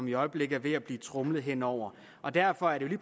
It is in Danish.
i øjeblikket er ved at blive tromlet hen over og derfor er det